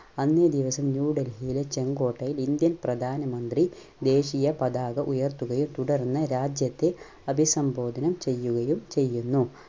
അന്നേ ദിവസം ന്യൂ ഡൽഹിയിലെ ചെങ്കോട്ടയിൽ ഇന്ത്യൻ പ്രധാനമന്ത്രി ദേശീയ പതാക ഉയർത്തുകയും തുടർന്ന് രാജ്യത്തെ അഭിസംബോധനം ചെയ്യുകയും ചെയ്യുന്നു.